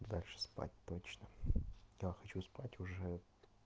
дальше спать точно я хочу спать уже